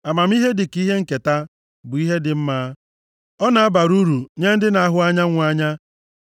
Amamihe dịka ihe nketa, bụ ihe dị mma. Ọ na-abara uru nye ndị na-ahụ anyanwụ anya.